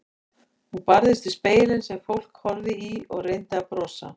Hún barðist við spegilinn sem fólk horfði í og reyndi að brosa.